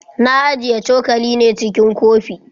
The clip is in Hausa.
Na ajiye cokali ne cikin kofi.